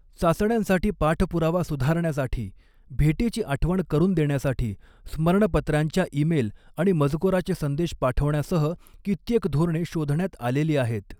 चाचण्यांसाठी पाठपुरावा सुधारण्यासाठी, भेटीची आठवण करून देण्यासाठी स्मरणपत्रांच्या ईमेल आणि मजकुराचे संदेश पाठवण्यासह कित्येक धोरणे शोधण्यात आलेली आहेत.